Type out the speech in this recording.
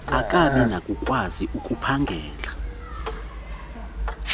angabi nakukwazi ukuphangela